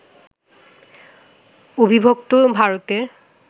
অবিভক্ত ভারতের